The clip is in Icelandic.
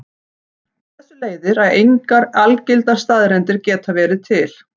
Af þessu leiðir að engar algildar staðreyndir geta verið til.